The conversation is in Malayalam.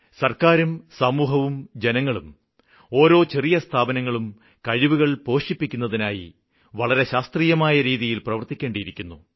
സര്ക്കാരും സമൂഹവും ജനങ്ങളും ഓരോ ചെറിയ സ്ഥാപനങ്ങളും കഴിവുകള് പോഷിപ്പിക്കുന്നതിനായി വളരെ ശാസ്ത്രീയമായ രീതിയില് പ്രവര്ത്തിക്കേണ്ടിയിരിക്കുന്നു